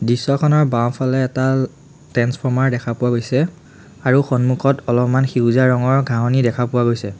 দৃশ্যখনৰ বাওঁফালে এডাল ট্ৰেন্সফৰ্মাৰ দেখা পোৱা গৈছে আৰু সন্মুখত অলপমান সেউজীয়া ৰঙৰ ঘাঁহনি দেখা পোৱা গৈছে।